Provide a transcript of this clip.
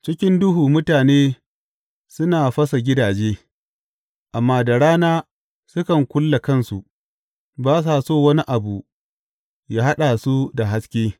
Cikin duhu mutane suna fasa gidaje, amma da rana sukan kulle kansu; ba sa so wani abu yă haɗa su da haske.